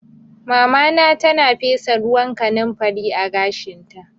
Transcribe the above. Mamana tana fesa ruwan kanumfari a gashinta